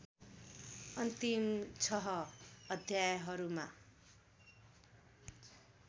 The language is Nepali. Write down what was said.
अन्तिम छह अध्यायहरूमा